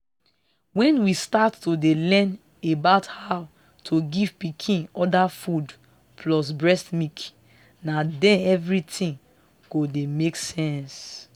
when we start to dey learn about how to give pikin other food plus breast milk na then everything go dey make sense.